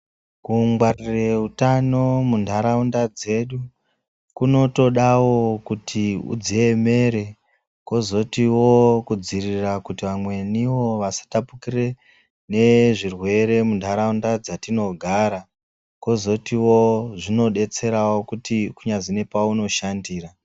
Kungwarire hutano mundarawunda dzedu, kunotodawo kuti udzeyemere kozotiwo kudziyirira kuti vamweni wo vasitapukire nezvirwere mundarawunda dzatinogara, kozoti wo zvinodetserawo kuti kunyazi pawunoshandira.